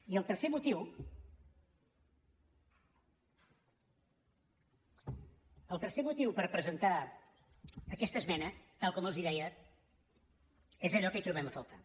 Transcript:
i el tercer motiu el tercer motiu per presentar aquesta esmena tal com els deia és allò que hi trobem a faltar